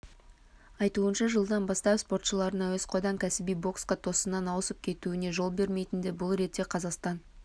айтуынша жылдан бастап спортшылардың әуесқойдан кәсіби боксқа тосыннан ауысып кетуіне жол берілмейтінді бұл ретте қазақстан